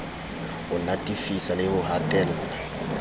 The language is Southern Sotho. ho natefisa le ho hatella